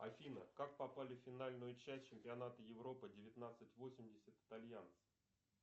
афина как попали в финальную часть чемпионата европы девятнадцать восемьдесят итальянцы